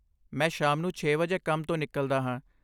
ਮੈਂ ਸ਼ਾਮ ਨੂੰ ਛੇ ਵਜੇ ਕੰਮ ਤੋਂ ਨਿਕਲਦਾ ਹਾਂ